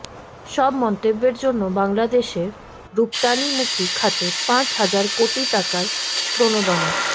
সব মন্তব্যের জন্য বাংলাদেশের রপ্তানিমুখী খাতে পাঁচ হাজার কোটি টাকার প্রণোদনা